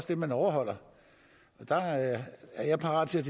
det man overholder og jeg er parat til